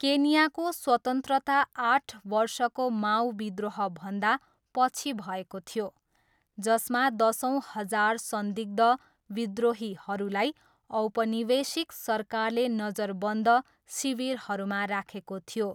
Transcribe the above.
केन्याको स्वतन्त्रता आठ वर्षको माऊ विद्रोहभन्दा पछि भएको थियो, जसमा दसौँ हजार संदिग्ध विद्रोहीहरूलाई औपनिवेशिक सरकारले नजरबन्द शिविरहरूमा राखेको थियो।